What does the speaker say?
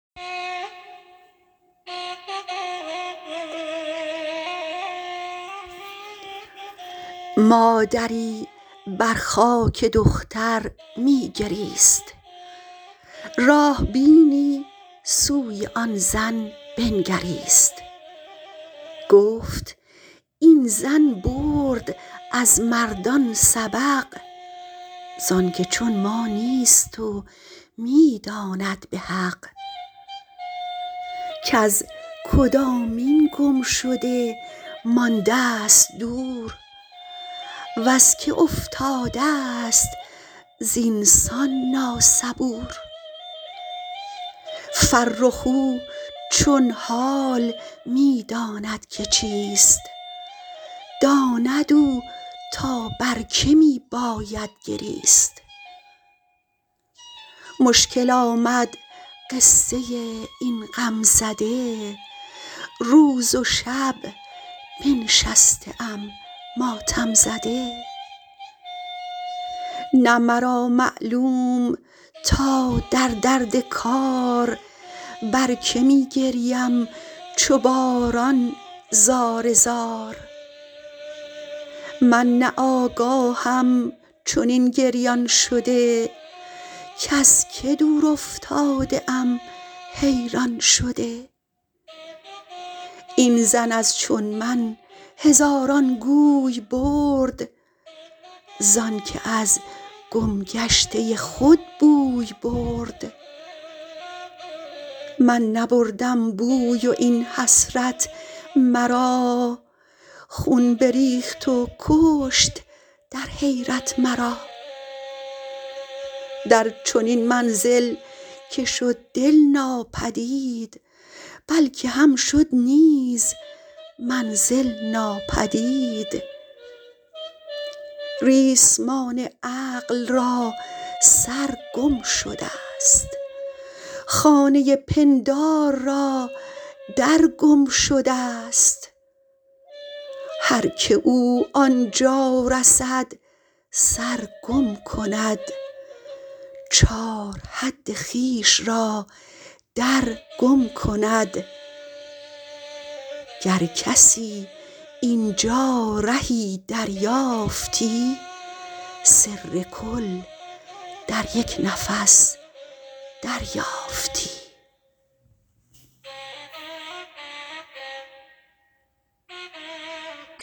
مادری بر خاک دختر می گریست راه بینی سوی آن زن بنگریست گفت این زن برد از مردان سبق زانک چون ما نیست و می داند به حق کز کدامین گم شده ماندست دور وز که افتادست زین سان نا صبور فرخ او چون حال می داند که چیست داند او تا بر که می باید گریست مشکل آمد قصه این غم زده روز و شب بنشسته ام ماتم زده نه مرا معلوم تا در درد کار بر که می گریم چو باران زار زار من نه آگاهم چنین گریان شده کز که دور افتاده ام حیران شده این زن از چون من هزاران گوی برد زانکه از گم گشته خود بوی برد من نبردم بوی و این حسرت مرا خون بریخت و کشت در حیرت مرا در چنین منزل که شد دل ناپدید بل که هم شد نیز منزل ناپدید ریسمان عقل را سر گم شدست خانه پندار را در گم شدست هرکه او آنجا رسد سرگم کند چار حد خویش را در گم کند گر کسی اینجا رهی دریافتی سر کل در یک نفس دریافتی